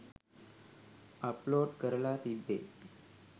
Upload කරලා තිබ්බේ.